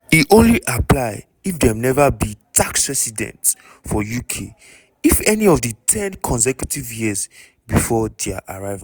e only apply if dem never be tax resident for uk in any of di ten consecutive years before dia arrival.